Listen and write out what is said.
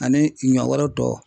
Ani ɲɔ wɛrɛ tɔ